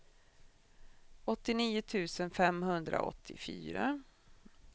åttionio tusen femhundraåttiofyra